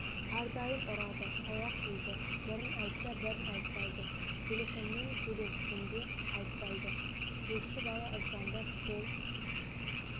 әрдайым ұрады таяқ жейді бірін айтса бірін айтпайды телефонмен сөйлескенде де айтпайды көрші бала звондап сол